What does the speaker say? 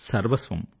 సర్వస్వం